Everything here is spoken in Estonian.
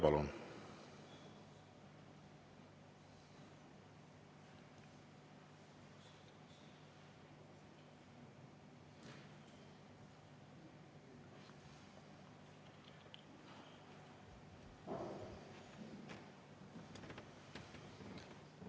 Palun!